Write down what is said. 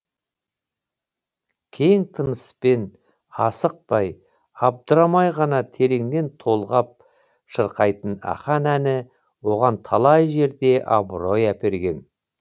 кең тыныспен асықпай абдырамай ғана тереңнен толғап шырқайтын ақан әні оған талай жерде абырой әперген